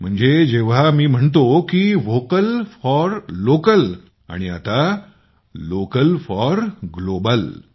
म्हणजे जेव्हा मी म्हणतो की व्होकल फॉर लोकल आणि आता लोकल फॉर ग्लोबल